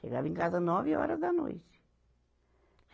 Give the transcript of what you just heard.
Chegava em casa nove horas da noite.